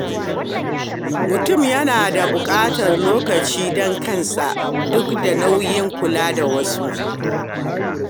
Mutum yana buƙatar lokaci don kansa duk da nauyin kula da wasu.